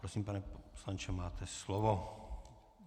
Prosím, pane poslanče, máte slovo.